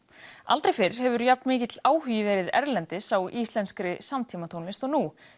aldrei fyrr hefur verið jafnmikill áhugi erlendis á íslenskri samtímatónlist og nú